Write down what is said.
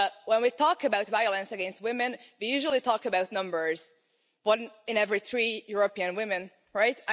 When we talk about violence against women, we usually talk about numbers one in every three European women, right?